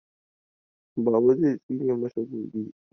Baba zai tsine masa gobe.